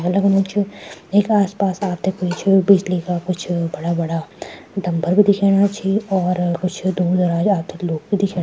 लगनु च वेका आस-पास आपथे कुछ बिजली का कुछ बड़ा-बड़ा डम्बल भी दिख्येणा छि और कुछ दूर दराज आपथे लोग भी दिख्येना --